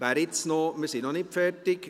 Wir sind noch nicht fertig.